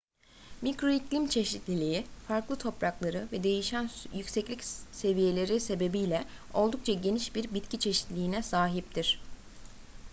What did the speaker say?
mikro iklim çeşitliliği farklı toprakları ve değişen yükseklik seviyeleri sebebiyle oldukça geniş bir bitki çeşitliliğine sahiptir